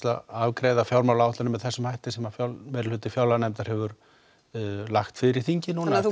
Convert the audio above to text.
að afgreiða fjármálaáætlun með þessum hætti sem meirihluti fjárlaganefndar hefur lagt fyrir þingið núna þetta